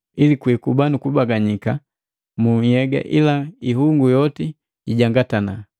ili kwiikuba nukubaganika mu nhyega ila ihungu yoti ijangatana.